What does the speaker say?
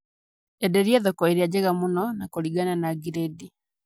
Enderia thoko ĩrĩa njega mũno na kũringana na giredi